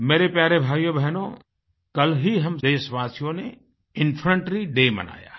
मेरे प्यारे भाइयोबहनो कल ही हम देशवासियों ने इन्फैंट्री डे मनाया है